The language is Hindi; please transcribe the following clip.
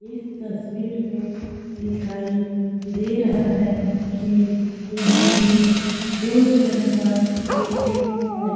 इस तस्वीर में दिखाई दे रहा है कि यहां पे दो छत का बिल्डिंग है।